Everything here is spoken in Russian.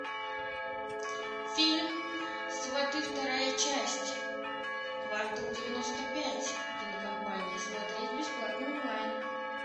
фильм сваты вторая часть квартал девяносто пять кинокомпании смотреть бесплатно онлайн